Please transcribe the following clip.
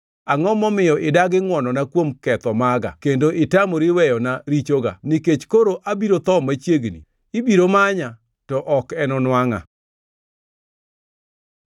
Angʼo momiyo idagi ngʼwonona kuom ketho maga kendo itamori wena richoga? Nikech koro abiro tho machiegni; ibiro manya, to ok enonwangʼa.”